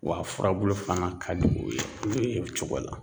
W'a furabulu fana ka di o ye o ye o cogo la.